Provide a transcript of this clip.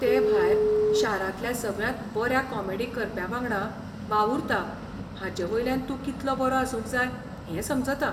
तेभायर, शारांतल्या सगळ्यांत बऱ्या कॉमेडी करप्यावांगडा वावुरता हाचेवयल्यान तूं कितलो बरो आसूंक जाय हें समजता